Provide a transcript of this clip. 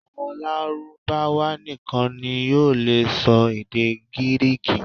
Àwọn Lárúbáwá nìkan ni yóò lè sọ èdè Gíríkì